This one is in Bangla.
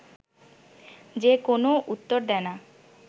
সে কোনও উত্তর দেয় না